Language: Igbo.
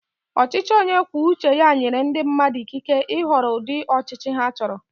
Ọchịchị onye kwuo uche ya nyere ndị mmadụ ikike ịhọrọ ụdị ọchịchị ha chọrọ.